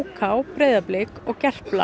k Breiðablik og Gerpla